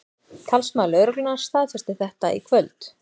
Talsmaður lögreglunnar staðfesti þetta í kvöld